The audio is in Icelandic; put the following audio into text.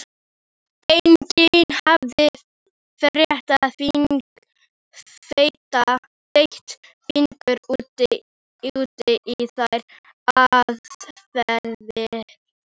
Enginn hafði fett fingur út í þær aðferðir.